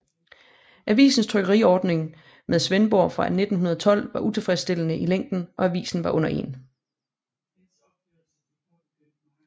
Avisens trykkeriordning med Svendborg fra 1912 var utilfredsstillende i længen og avisen var under 1